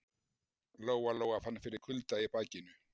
Lóa Lóa fann fyrir kulda í bakinu.